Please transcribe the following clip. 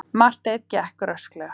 Marteinn gekk rösklega.